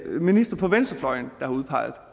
en minister på venstrefløjen der har udpeget